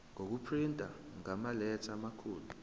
ngokuprinta ngamaletha amakhulu